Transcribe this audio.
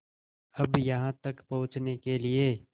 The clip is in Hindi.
अब यहाँ तक पहुँचने के लिए